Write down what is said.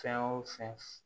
Fɛn o fɛn